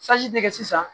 dɛgɛ sisan